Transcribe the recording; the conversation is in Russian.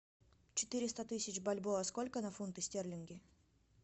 четыреста тысяч бальбоа сколько на фунты стерлинги